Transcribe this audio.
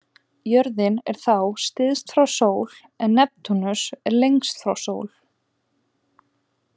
Jörðin er þá styst frá sól en Neptúnus lengst frá sól.